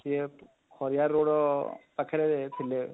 ସେ ଖରିଆର road ର ପାଖରେ ଥିଲେ,